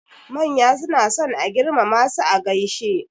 Manya suna son a girmama su a gaishe.